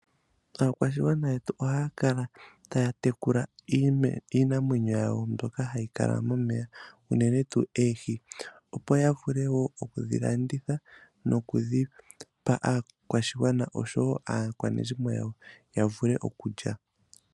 Aakwashigwana yetu ohaya kala taya tekula iinamwenyo yawo mbyoka hayi kala momeya ngaashi oohi opo yavule woo okudhilanditha nokudhipa aakwashigwana osho woo aakwanezimo yawo yavule okulya.